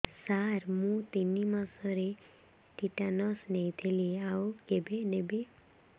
ସାର ମୁ ତିନି ମାସରେ ଟିଟାନସ ନେଇଥିଲି ଆଉ କେବେ ନେବି